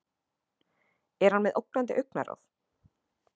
Er hann með ógnandi augnaráð?